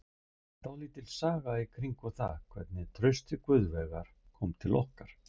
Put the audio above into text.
Það er dálítil saga í kringum það hvernig Trausti Guðveigur kom til okkar.